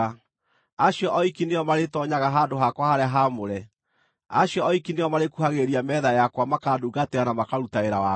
Acio oiki nĩo marĩtoonyaga handũ-hakwa-harĩa-haamũre; acio oiki nĩo marĩĩkuhagĩrĩria metha yakwa makandungatĩra na makaruta wĩra wakwa.